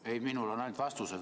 Ei, minul on ainult vastused.